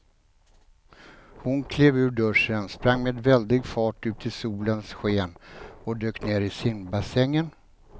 Hon klev ur duschen, sprang med väldig fart ut i solens sken och dök ner i simbassängen.